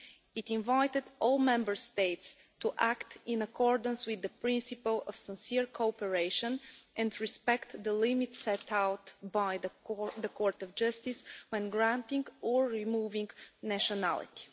It invited all Member States to act in accordance with the principle of sincere cooperation and respect the limits set out by the Court of Justice when granting or removing nationality.